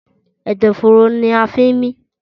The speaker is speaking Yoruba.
Ẹ̀dọ̀fóró ní a fí ń mí.